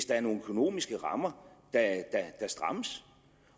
der er nogle økonomiske rammer der strammes